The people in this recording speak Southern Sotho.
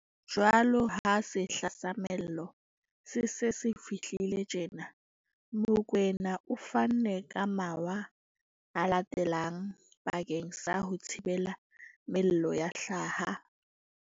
Jwaloka ha sehla sa mello se se se fihlile tjena, Mokoena o fanne ka mawa a latelang bakeng sa ho thibela mello ya hlaha.